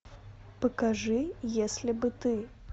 покажи если бы ты